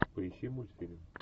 поищи мультфильм